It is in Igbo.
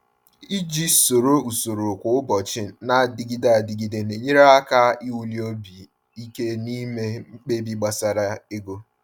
Iji soro usoro kwa ụbọchị na-adịgide adịgide na-enyere aka iwuli obi ike n’ime mkpebi gbasara ego.